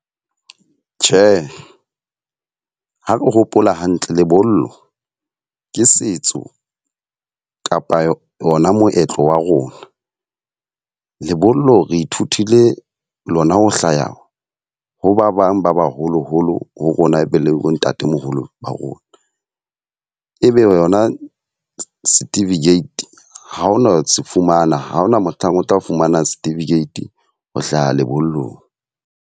Tjhe, ha ke hopola hantle lebollo ke setso kapa ona moetlo wa rona. Lebollo re ithutile lona ho hlaya ho ba bang ba baholoholo ho rona, e be le bo ntatemoholo ba rona. Ebe yona certificate ha hona se fumana, ha hona mohlang o tla fumana certificate ho hlaha lebollong.